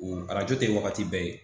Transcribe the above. O arajo tɛ wagati bɛɛ ye